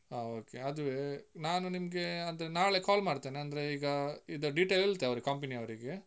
ಹ okay ಅದುವೇ, ನಾನು ನಿಮ್ಗೆ ಆದ್ರೆ ನಾಳೆ call ಮಾಡ್ತೇನೆ, ಅಂದ್ರೆ ಈಗ ಇದ್ದ detail ಹೇಳ್ತೆ, ಅವರಿಗೆ company ಅವರಿಗೆ.